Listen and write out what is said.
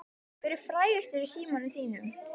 Hver er frægastur í símanum þínum?